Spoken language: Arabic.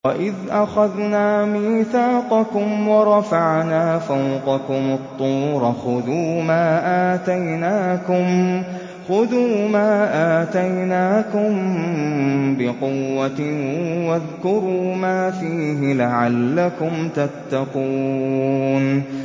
وَإِذْ أَخَذْنَا مِيثَاقَكُمْ وَرَفَعْنَا فَوْقَكُمُ الطُّورَ خُذُوا مَا آتَيْنَاكُم بِقُوَّةٍ وَاذْكُرُوا مَا فِيهِ لَعَلَّكُمْ تَتَّقُونَ